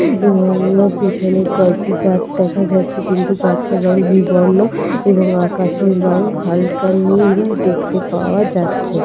এবং অন্য পিছনে কয়েকটি গাছ দেখা যাচ্ছে কিন্তু গাছের রং বিবর্ণ এবং আকাশের রং হালকা নীল দেখতে পাওয়া যাচ্ছে।